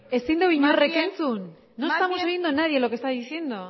ezin du inork entzun no estamos oyendo nadie lo que está diciendo